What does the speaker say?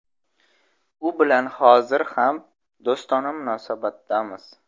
U bilan hozir ham do‘stona munosabatdamiz.